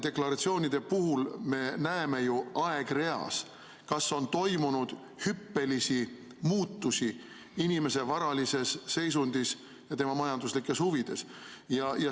Deklaratsioonide puhul me näeme ju aegreas, kas on toimunud hüppelisi muutusi inimese varalises seisundis ja tema majanduslikes huvides.